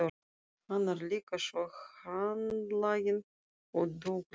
Hann er líka svo handlaginn og duglegur.